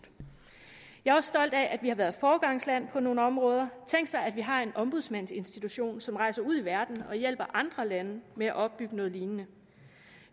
jeg er også stolt af at vi har været foregangsland på nogle områder tænk sig at vi har en ombudsmandsinstitution som rejser ud i verden og hjælper andre lande med at opbygge noget lignende